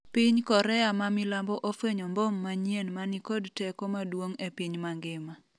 piny Korea ma milambo ofwenyo mbom manyien ma ni kod teko maduong' e piny mangima